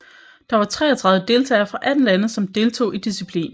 Der var treogtredive deltagere fra atten lande som deltog i disciplinen